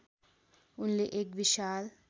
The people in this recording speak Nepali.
उनले एक विशाल